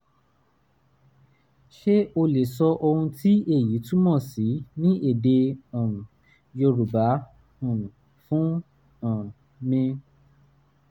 ṣé o lè sọ ohun tí èyí túmọ̀ sí ní èdè um yorùbá um fún um mi?